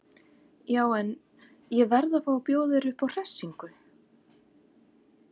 Já en. ég verð að fá að bjóða þér upp á hressingu!